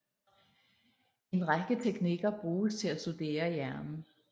En række teknikker bruges til at studere hjernen